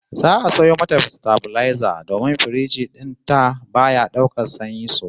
Zan sayo mata sitabilaiza domin firiji din ta baya daukar sanyi sosai